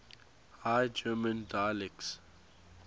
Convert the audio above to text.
high german dialects